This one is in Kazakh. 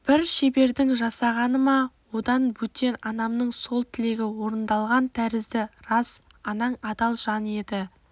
бір шебердің жасағаны ма одан бөтен анамның сол тілегі орындалған тәрізді рас анаң адал жан еді